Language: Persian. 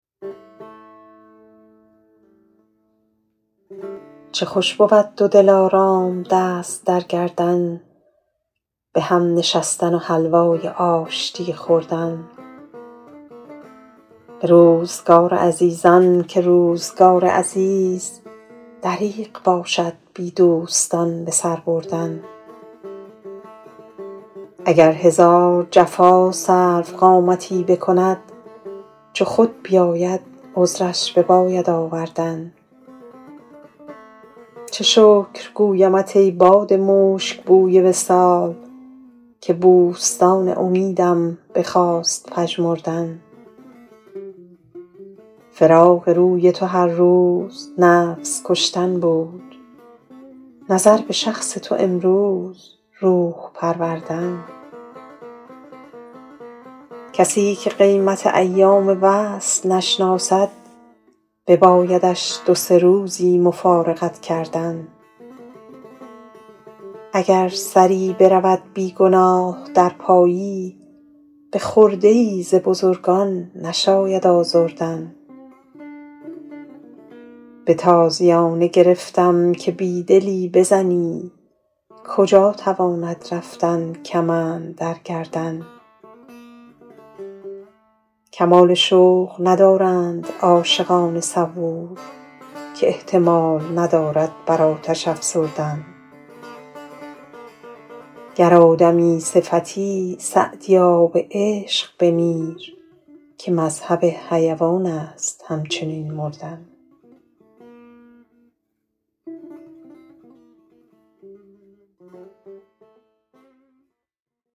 چه خوش بود دو دلارام دست در گردن به هم نشستن و حلوای آشتی خوردن به روزگار عزیزان که روزگار عزیز دریغ باشد بی دوستان به سر بردن اگر هزار جفا سروقامتی بکند چو خود بیاید عذرش بباید آوردن چه شکر گویمت ای باد مشک بوی وصال که بوستان امیدم بخواست پژمردن فراق روی تو هر روز نفس کشتن بود نظر به شخص تو امروز روح پروردن کسی که قیمت ایام وصل نشناسد ببایدش دو سه روزی مفارقت کردن اگر سری برود بی گناه در پایی به خرده ای ز بزرگان نشاید آزردن به تازیانه گرفتم که بی دلی بزنی کجا تواند رفتن کمند در گردن کمال شوق ندارند عاشقان صبور که احتمال ندارد بر آتش افسردن گر آدمی صفتی سعدیا به عشق بمیر که مذهب حیوان است همچنین مردن